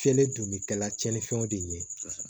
Fiyɛli dun bɛ kɛ tiɲɛnifɛnw de ɲɛ kosɛbɛ